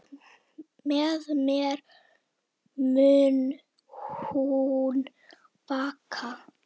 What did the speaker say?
Með mér mun hún vaka.